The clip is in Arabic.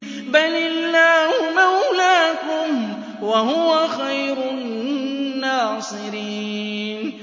بَلِ اللَّهُ مَوْلَاكُمْ ۖ وَهُوَ خَيْرُ النَّاصِرِينَ